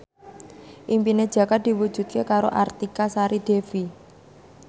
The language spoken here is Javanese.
impine Jaka diwujudke karo Artika Sari Devi